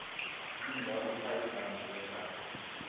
inja wayipha igama iyathaba